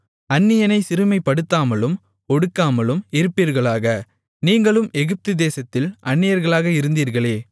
அந்நியனைச் சிறுமைப்படுத்தாமலும் ஒடுக்காமலும் இருப்பீர்களாக நீங்களும் எகிப்து தேசத்தில் அந்நியர்களாக இருந்தீர்களே